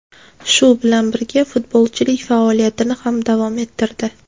Shu bilan birga, futbolchilik faoliyatini ham davom ettirdi.